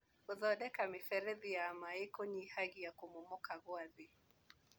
Gũthondeka mĩberethi ya maĩ nĩkũnyihagia kũmomoka kwa thĩ.